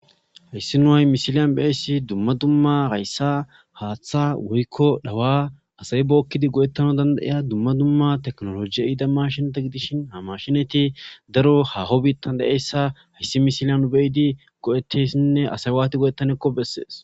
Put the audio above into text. hayssi no hay mishilyan beessi dumma dumma hayssa haaththa woykko dhawa asay bookkidi go7ettana danda iya dumma dumma teknoloji ida mashinata gidishin hamashinati daro haho biittan da7eyssa hayssi mishilyanu beyidi go7etteyssinne asay waati go7ettanekko bessees